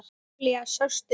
Júlía, sástu mig?